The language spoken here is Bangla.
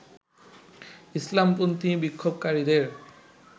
ইসলামপন্থী বিক্ষোভকারীদের